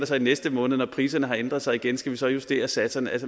så i næste måned når priserne har ændret sig igen skal vi så justere satserne